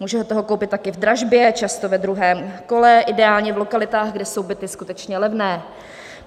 Můžete ho koupit taky v dražbě, často ve druhém kole, ideálně v lokalitách, kde jsou byty skutečně levné.